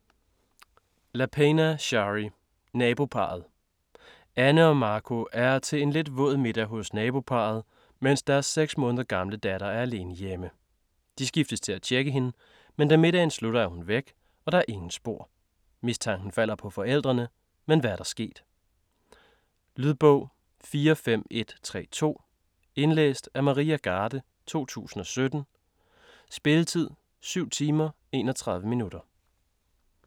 Lapena, Shari: Naboparret Anne og Marco er til en lidt våd middag hos naboparret, mens deres seks måneder gamle datter er alene hjemme. De skiftes til at tjekke hende, men da middagen slutter, er hun væk, og der er ingen spor. Mistanken falder på forældrene, men hvad er der sket? Lydbog 45132 Indlæst af Maria Garde, 2017. Spilletid: 7 timer, 31 minutter.